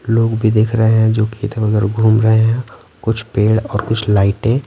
लोग भी देख रहे हैं जो कि इधर-उधर घूम रहे हैं कुछ पेड़ और कुछ लाइटें --